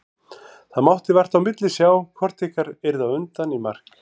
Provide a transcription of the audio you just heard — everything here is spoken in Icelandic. Það mátti vart á milli sjá hvort ykkar yrði á undan í mark.